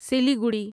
Siliguri